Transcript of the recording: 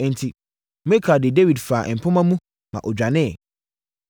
Enti, Mikal de Dawid faa mpomma mu ma ɔdwaneeɛ.